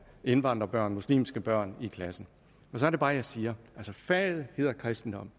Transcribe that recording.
indvandrerbørn muslimske børn i klassen og så er det bare at jeg siger faget hedder kristendom